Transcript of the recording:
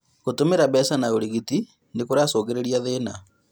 Gũtũmĩra mbeca na ũrigiti nĩgũcũngagĩrĩria thĩna